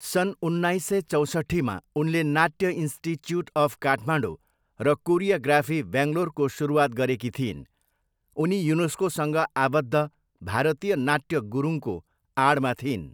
सन् उन्नाइस सय चौसट्ठीमा उनले नाट्य इन्स्टिच्युट अफ काठमाडौँ र कोरियोग्राफी, बेङ्गलोरको सुरुवात गरेकी थिइन्। उनी युनेस्कोसँग आबद्ध भारतीय नाट्य गुरुङको आडमा थिइन्।